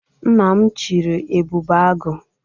Nna m chịrị Ebube Agụ'